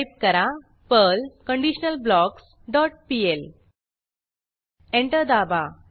type करा Perl conditionalblocks dot pl enter दाबा